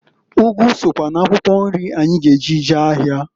Ụgụ sokwa n'akwụkwọ nri anyị g'eji jee ahịa.